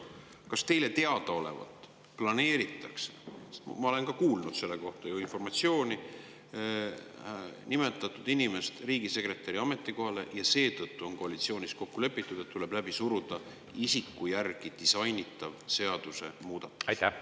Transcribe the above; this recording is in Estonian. Kas teile teadaolevalt planeeritakse meil selles olukorras – ma olen ka kuulnud selle kohta informatsiooni – nimetada ühte inimest riigisekretäri ametikohale ja seetõttu on koalitsioonis kokku lepitud, et tuleb läbi suruda ühe isiku järgi disainitud seadusemuudatus?